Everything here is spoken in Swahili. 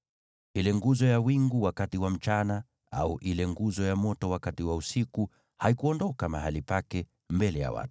Ile nguzo ya wingu wakati wa mchana au ile nguzo ya moto wakati wa usiku haikuondoka mahali pake mbele ya watu.